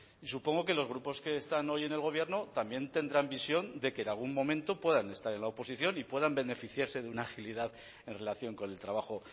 y supongo que los grupos que están hoy en el gobierno también tendrán visión de que en algún momento puedan estar en la oposición y puedan beneficiarse de una agilidad en relación con el trabajo